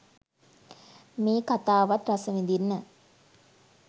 මේ කතාවත් රසවිදින්න